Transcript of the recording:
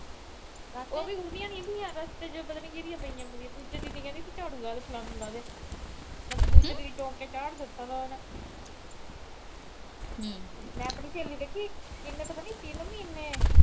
ਉਹ ਵੀ ਉਹਦੀਆਂ ਨੀ ਤੀਆ, ਪਤਾ ਨੀ ਕਿਦੀਆਂ ਪਈਆਂ ਤਾ। ਦੂਜੇ ਦਿਨ ਈ ਕਹਿੰਦੀ, ਝਾੜੂ ਲਾ ਦੇ ਫਲਾਨਾ ਲਾ ਦੇ। ਮੈਨੂੰ ਤਾਂ ਅਗਲੇ ਦਿਨ ਈ ਚੌਂਕ ਤੇ ਚਾੜ ਦਿੱਥਾ ਥਾ। ਮੈਂ ਆਪਣੀ ਸਹੇਲੀ ਦੇਖੀ, ਕਿੰਨੇ ਪਤਾ ਨੀ ਤਿੰਨ ਮਹੀਨੇ